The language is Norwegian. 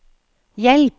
hjelp